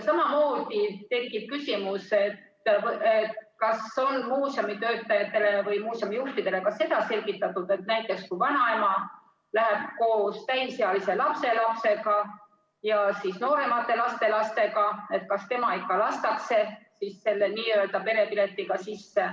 Samamoodi tekib küsimus, kas on muuseumi töötajatele või muuseumi juhtidele ka seda selgitatud, et näiteks kui vanaema läheb koos täisealise lapselapsega ja nooremate lastelastega, siis kas tema ikka lastakse selle n-ö perepiletiga sisse.